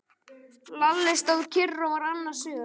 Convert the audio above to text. Lalli stóð kyrr og var annars hugar.